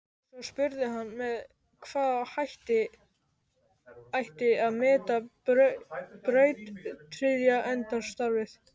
Svo spurði hann með hvaða hætti ætti að meta brautryðjendastarfið.